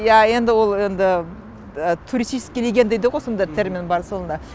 иә енді ол енді туристический регион дейді ғой сондай термин бар сонда